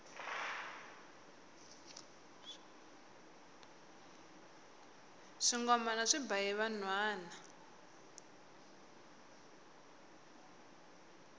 swingomana swi ba hi vanhwana